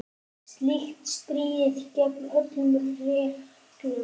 Slíkt stríðir gegn öllum reglum.